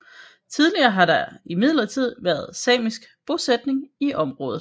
Tidligere har der imidlertid været samisk bosætning i området